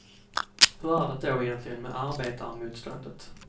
Hur är det då egentligen med arbetarmotståndet.